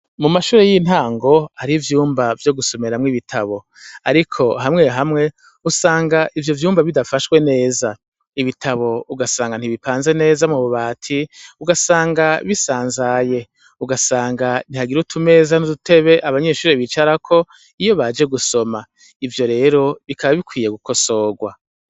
Mu mashure y'intango hari ivyumba vyo gusomeramwo ibitabo, ariko hamwe hamwe usanga ivyo vyumba bidafashwe neza ibitabo ugasanga ntibipanze neza mu bubati ugasanga bisanzaye ugasanga ntihagira utumeza n'udutebe abanyeshuri bicarako iyo baje gusoma ivyo rero bikaba bikwiye gukosorwa.